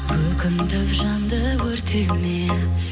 өкінтіп жанды өртеме